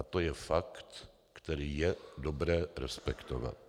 A to je fakt, který je dobré respektovat.